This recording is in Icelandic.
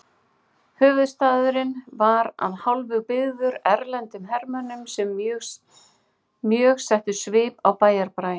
Höfuðstaðurinn var að hálfu byggður erlendum hermönnum sem mjög settu svip á bæjarbraginn.